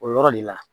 O yɔrɔ de la